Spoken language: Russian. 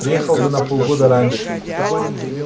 приехал бы на полгода раньше